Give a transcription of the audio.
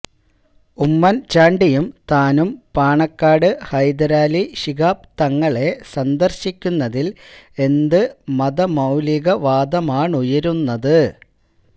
ഉമ്മന് ചാണ്ടിയും താനും പാണക്കാട് ഹൈദരലി ശിഹാബ് തങ്ങളെ സന്ദര്ശിക്കുന്നതില് എന്ത് മതമൌലിക വാദമാണുയരുന്നത്